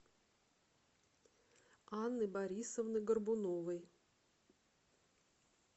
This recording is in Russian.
анны борисовны горбуновой